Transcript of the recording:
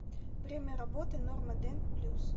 время работы норма дент плюс